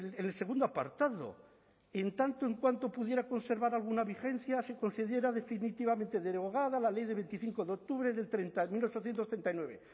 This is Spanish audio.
en el segundo apartado en tanto en cuanto pudiera conservar alguna vigencia se considera definitivamente derogada la ley de veinticinco de octubre del mil ochocientos treinta y nueve